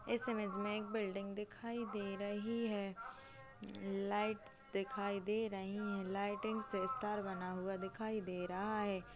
इस इमेज में एक बिल्डिंग दिखाई दे रही है लाइट दिखाई दे रही है लाइटिंग से स्टार बना हुआ दे रहा है।